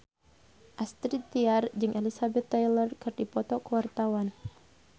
Astrid Tiar jeung Elizabeth Taylor keur dipoto ku wartawan